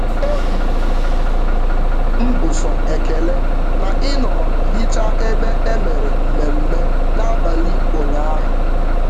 Obi m bụ sọ ekele na I nọrọ hichaa ebe e mere mmemme n'abalị ụnyaahụ